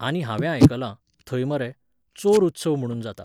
आनी हांवें आयकलां, थंय मरे, चोर उत्सव म्हणून जाता.